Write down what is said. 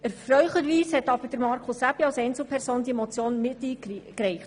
Erfreulicherweise hat aber Grossrat Aebi diese Motion als Einzelperson miteingereicht.